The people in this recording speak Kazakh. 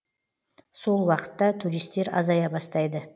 сол уақытта туристер азая бастайды